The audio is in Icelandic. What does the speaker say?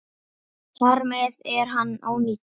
Þar með er hann ónýtur.